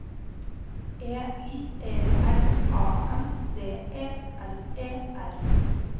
E I E R A N D E L E R